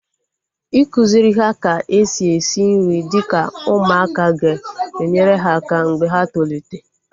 Ịkụziri ha ka-esi esi nri dịka ụmụaka ga enyere ha aka mgbe ha tolite